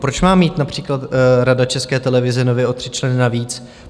Proč má mít například rada České televize nově o tři členy navíc?